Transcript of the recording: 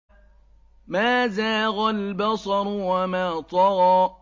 مَا زَاغَ الْبَصَرُ وَمَا طَغَىٰ